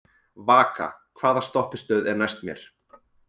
Vaka, hvaða stoppistöð er næst mér?